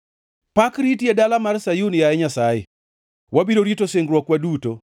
Pak riti e dala mar Sayun, yaye Nyasaye, wabiro rito singruokwa duto.